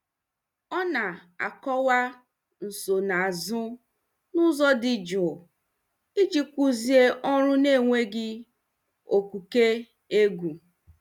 Ọ na-akọwa nsonaazụ n'ụzọ dị jụụ iji kụzie ọrụ n'enweghị okuke egwu.